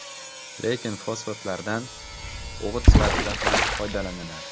Lekin fosfatlardan o‘g‘it sifatida ham foydalaniladi.